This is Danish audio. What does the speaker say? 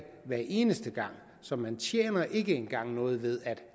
hver eneste gang så man tjener ikke engang noget ved at